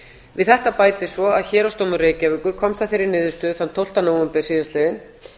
við þetta bætist svo að héraðsdómur reykjavíkur komst að þeirri niðurstöðu þann tólfti nóvember síðastliðinn